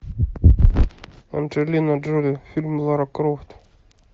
анджелина джоли фильм лара крофт